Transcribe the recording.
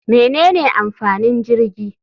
Menene amfanin jirgi?